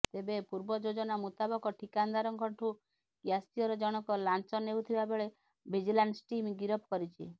ତେବେ ପୂର୍ବ ଯୋଜନା ମୁତାବକ ଠିକାଦାରଙ୍କଠୁ କ୍ୟାସିୟର ଜଣଙ୍କ ଲାଞ୍ଚ ନେଉଥିବା ବେଳେ ଭିଜିଲାନ୍ସ ଟିମ୍ ଗିରଫ କରିଛି